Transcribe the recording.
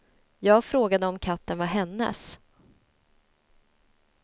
Jag frågade om katten var hennes.